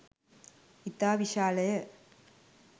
ඉතා විශාලය.